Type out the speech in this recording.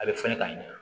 A bɛ fɔ ne ka ɲe